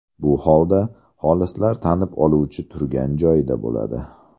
Bu holda xolislar tanib oluvchi turgan joyda bo‘ladi.